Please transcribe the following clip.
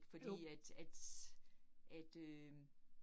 Fordi at at, at øh